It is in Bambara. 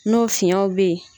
N'o fiɲɛw be yen